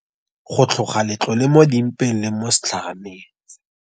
Go tlhoga letlhole mo di mpeng le mo setlhaneng.